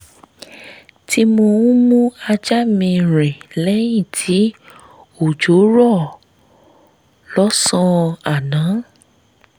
tí mò ń mú ajá mi rìn lẹ́yìn tí òjò rọ̀ lọ́sàn-án àná